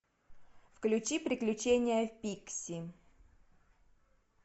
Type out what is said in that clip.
включи приключения пикси